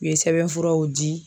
U ye sɛbɛnfuraw di.